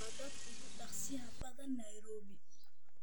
wadada ugu dhaqsiyaha badan nairobi